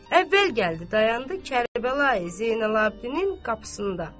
Əvvəl gəldi dayandı Kərbəlayi Zeynalabdinin qapısında.